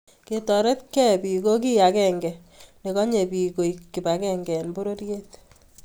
kotoretkei bik ko kei agenge ne konye biko koek kibakengee eng pororiet